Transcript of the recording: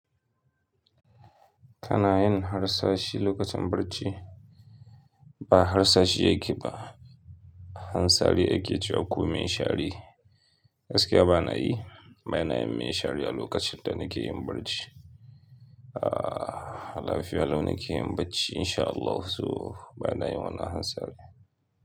Kana yin har sashi lokacin barci. Ba harsashi yake ba, hansari yake cewa ko mai share. Gaskiya ba na yi, ba na yin mai shari a lokacin da nake yin barci. Aaa, a lafiya lau nake yin bacci insha Allahu so ba na yi wannan hansarin.